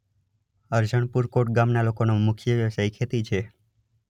અરજણપુર કોટ ગામના લોકોનો મુખ્ય વ્યવસાય ખેતી છે.